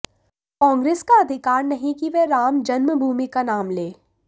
कांग्रेस का अधिकार नहीं कि वह राम जन्मभूमि का नाम ले